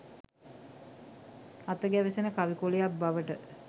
අත ගැවසෙන කවි කොළයක් බවට